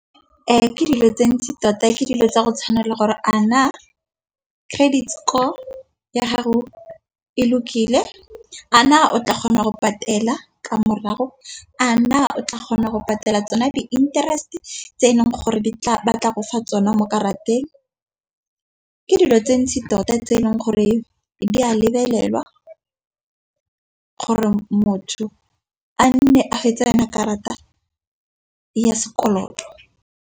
ke dilo tse ntsi tota ke dilo tsa go tshwanela gore a na credit score ya gago e lokile. A na o tla kgona go patela ka morago, a na o tla kgona go patela tsone di-interest tse eleng gore di tla fofa tsone mo karateng. Ke dilo tse ntsi tota tse e leng gore di a lebelelwa gore motho a nne a fetsa yone karata ya sekoloto.